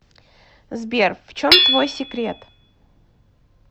сбер в чем твой секрет